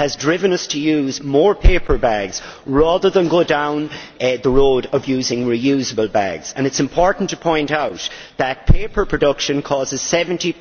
It has driven us to use more paper bags rather than go down the road of using reusable bags, and it is important to point out that paper production causes 70